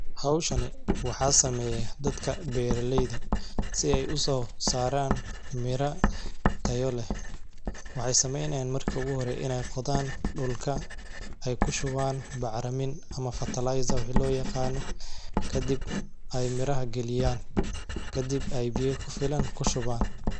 Hawshani waxaa sameeyay dadka beerileyda si ay u soo saaraan mira tayo leh. Waxay samaynayn marka hore inay qodaan dhulka, ay ku shubaan bacramin ama fertilizer wixii loo yaqaano, ka dib ay miraha geliyaan, ka dib ay biiya ku filan ku shubaan.